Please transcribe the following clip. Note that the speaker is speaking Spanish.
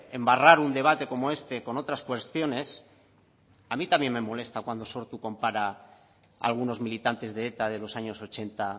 embarrar un debate como este con otras cuestiones a mí también me molesta cuando sortu compara algunos militantes de eta de los años ochenta